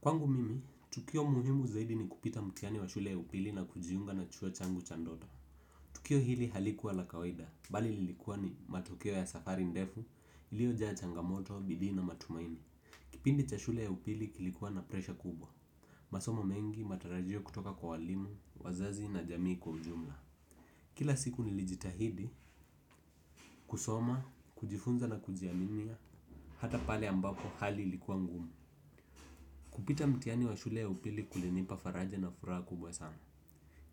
Kwangu mimi, tukio muhimu zaidi ni kupita mtihani wa shule ya upili na kujiunga na chuo changu cha ndoto. Tukio hili halikuwa la kawaida, bali lilikuwa ni matokeo ya safari ndefu, iliojaa changamoto, bidii na matumaini. Kipindi cha shule ya upili kilikuwa na presha kubwa. Masomo mengi matarajio kutoka kwa walimu wazazi na jamii kwa ujumla. Kila siku nilijitahidi, kusoma, kujifunza na kujiaminia, hata pale ambapo hali ilikuwa ngumu. Kupita mtihani wa shule ya upili kulinipa faraja na furaha kubwa sana.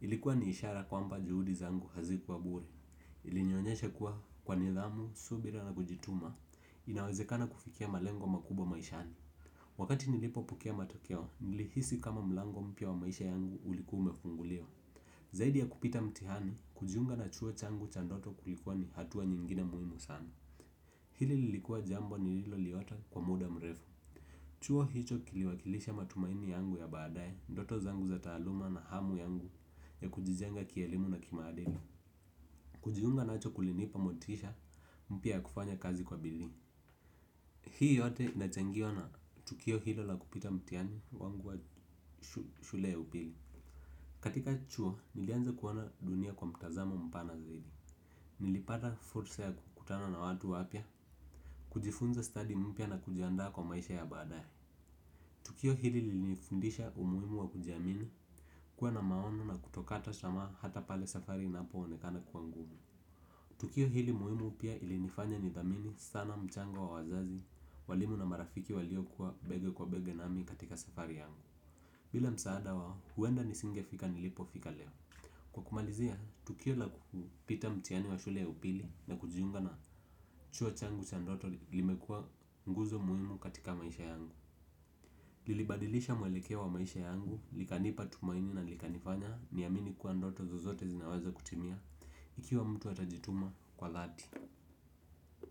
Ilikuwa ni ishara kwamba juhudi zangu hazikuwa bure. Ilinionyesha kuwa kwa nidhamu subira na kujituma inawezekana kufikia malengo makubwa maishani. Wakati nilipo pokea matokeo, nilihisi kama mlango mpya wa maisha yangu ulikuwa umefunguliwa. Zaidi ya kupita mtihani, kujiunga na chuo changu cha ndoto kulikuwa ni hatua nyingine muhimu sana. Hili lilikuwa jambo nililoliota kwa muda mrefu. Chuo hicho kiliwakilisha matumaini yangu ya baadae, ndoto zangu za taaluma na hamu yangu ya kujijenga kielimu na kimaadili. Kujiunga nacho kulinipa motisha mpya ya kufanya kazi kwa bidii. Hii yote inachangiwa na tukio hilo la kupita mtihani wangu wa shule ya upili. Katika chuo, nilianza kuona dunia kwa mtazamo mpana zaidi. Nilipata fursa ya kukutana na watu wapya kujifunza study mpya na kujiandaa kwa maisha ya baadae tukio hili lilinifundisha umuhimu wa kujiamini kuwa na maono na kutokata tamaa hata pale safari inapoonekana kuwa ngumu. Tukio hili muhimu pia ilinifanya nidhamini sana mchango wa wazazi walimu na marafiki walio kuwa bega kwa bega nami katika safari yangu. Bila msaada wao huenda nisingefika nilipofika leo. Kwa kumalizia, tukio la kukupita mtihani wa shule ya upili na kujiunga na chuo changu cha ndoto limekuwa nguzo muhimu katika maisha yangu. Lilibadilisha mwelekeo wa maisha yangu, likanipa tumaini na likanifanya niamini kuwa ndoto zozote zinaweza kutimia ikiwa mtu atajituma kwa dhati.